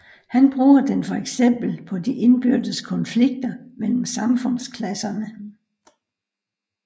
Han bruger den for eksempel på de indbyrdes konflikter mellem samfundsklasserne